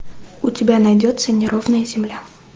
у тебя найдется неровная земля